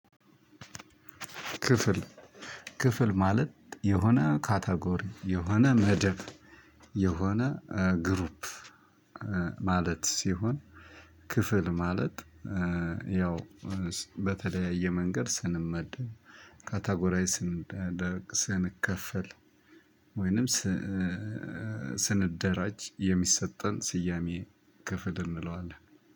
ክፍል ክፍል ማለት የሆነ ካታጎሪ የሆነ መደብ የሆነ ግሩፕ ማለት ሲሆን ክፍል ማለት ያው በተለያየ መንገድ ስንመደብ ካታጎራይዝ ስንደረግ ስንከፈል ወይንም ስንደራጅ የሚሰጠን ስያሜ ክፍል እንለዋለን